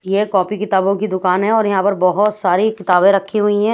ये एक कॉपी किताबो की दुकान है और यहाँ पर बहत सारी किताबे रखे है।